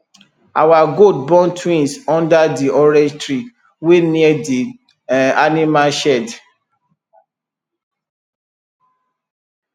our goat born twins under di orange tree wey near the um animal shed